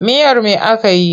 Miyar me aka yi?